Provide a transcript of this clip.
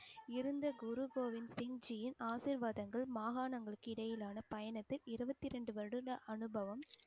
இருந்த குரு கோவிந்த் சிங்ஜியின் ஆசீர்வாதங்கள் மாகாணங்களுக்கு இடையிலான பயணத்தை இருபத்தி ரெண்டு வருட அனுபவம்